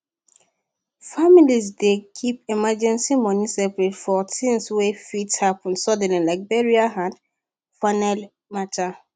families dey keep emergency money separate for things wey fit happen suddenly like burial and funeral matter